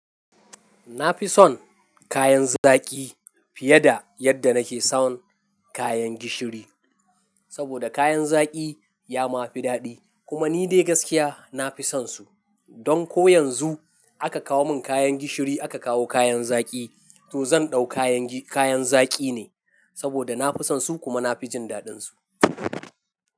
Na fi son kayan zaki fiye da yadda na ke son kayan gishiri. Saboda kayan zaki ya ma fi daɗi kuma ni dai gaskiya na fi son su. Don ko yanzu aka kawo mun kayan gishiri aka kawo kayan zaki to zan ɗau kayan gi-- kayan zaki ne. Saboda na fi son su kuma na fi jin daɗin su.